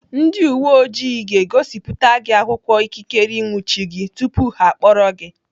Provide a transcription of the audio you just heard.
Ndị uwe ojii ga-egosipụta gị akwụkwọ ikikere ịnwụchi gị tupu ha akpọrọ gị.